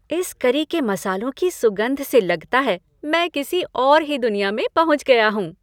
इस करी के मसालों की सुगंध से लगता है मैं किसी और ही दुनिया में पहुँच गया हूँ।